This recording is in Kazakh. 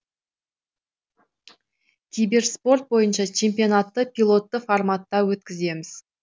киберспорт бойынша чемпионатты пилотты форматта өткіземіз